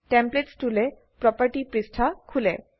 templates টুলে property পৃষ্ঠা খোলে